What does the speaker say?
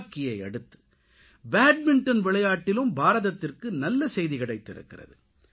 ஹாக்கியை அடுத்து பேட்மின்டன் விளையாட்டிலும் பாரதத்திற்கு நல்ல சேதி கிடைத்திருக்கிறது